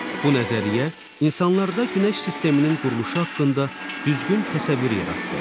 Bu nəzəriyyə insanlarda Günəş sisteminin quruluşu haqqında düzgün təsəvvür yaratdı.